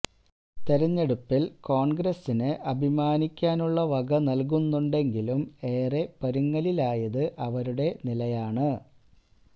തെരഞ്ഞെടുപ്പില് കോണ്ഗ്രസിന് അഭിമാനിക്കാനുള്ള വക നല്കുന്നുണ്ടെങ്കിലും ഏറെ പരുങ്ങലിലായത് അവരുടെ നിലയാണ്